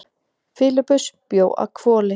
Filippus bjó að Hvoli.